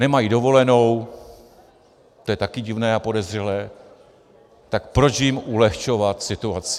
Nemají dovolenou, to je taky divné a podezřelé, tak proč jim ulehčovat situaci?